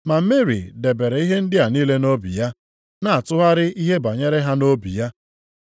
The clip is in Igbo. Ma Meri debere ihe ndị a niile nʼobi ya, na-atụgharị ihe banyere ha nʼobi ya.